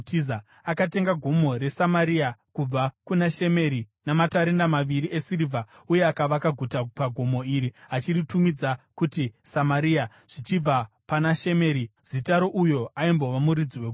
Akatenga gomo reSamaria kubva kuna Shemeri namatarenda maviri esirivha uye akavaka guta pagomo iri, achiritumidza kuti Samaria, zvichibva pana Shemeri, zita rouyo aimbova muridzi wegomo.